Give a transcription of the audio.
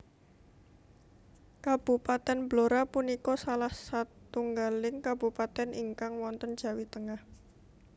Kabupatèn Blora punika salah satunggaling kabupatèn ingkang wonten Jawi Tengah